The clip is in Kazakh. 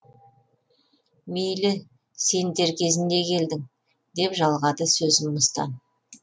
мейлі сен дер кезінде келдің деп жалғады сөзін мыстан